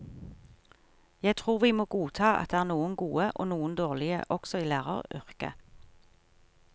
Jeg tror vi må godta at det er noen gode og noen dårlige også i læreryrket.